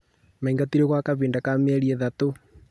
Maingatirwo gwa kahinda ka mĩeri ĩtatũ